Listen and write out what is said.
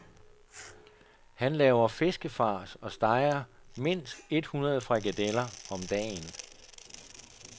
Han laver fiskefars og steger mindst et hundrede frikadeller om dagen.